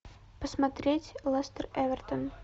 посмотреть лестер эвертон